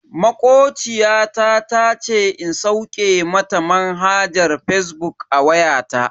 Makociya ta tace in sauke mata manhajar fazbuk a wayanta.